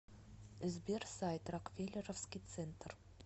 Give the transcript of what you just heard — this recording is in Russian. сбер сайт рокфеллеровский центр